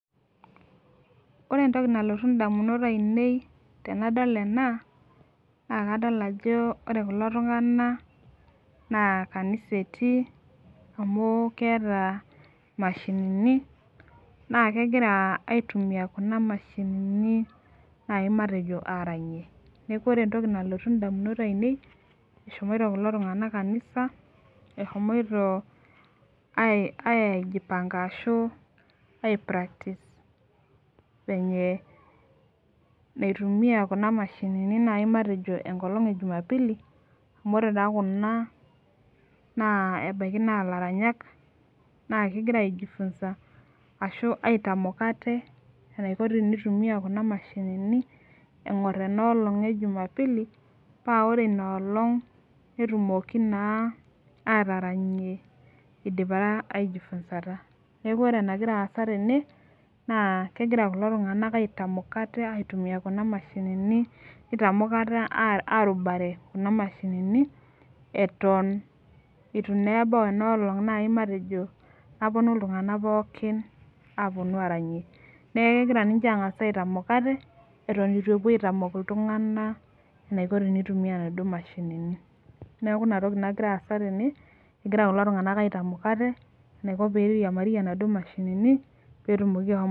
ore entoki nalotu indamunot ainei ,tenadol ena, na kadol ajo ore kulo tungana na kanisa eti, amu keeta imashinini na kengira aitumia kuna mashinini, nai matejo aranyie niaku ore entoki nalotu indamunot ainei, eshomoito kulo tungana kanisa ehomoito ai aijipanga ashu aipractice venye naitumia kuna mashinini nai matejo enkolong ejumapili, amu ore taa kuna, ebaiki na laranyak na kengira aijifunza ashu aitamok ate enaiko teneitumia kuna mashinini engorr enolong ejumapili, paa ore ina olong netumoki na ataranyie idipa naa ajifunzata niaku ore enengira asa tene, na kengira kulo tunganak aitamok ate, aitumia kuna mashinini neitamok ate, arubare kuna mashinini eton etu na eba ena olong matejo, naponu iltunganak pooki aranyie niaku kengira ninche angas aitamok ate, eton etu epuo aitaok iltunganak enaiko eneitumia kuna mashinini, niaku ina toki nangira asa tene engira kulo tungana aitamok ate enaio eneitumia kuna mashinini petumoki ahom.